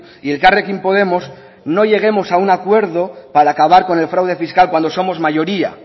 y elkarrekin podemos no lleguemos a un acuerdo para acabar con el fraude fiscal cuando somos mayoría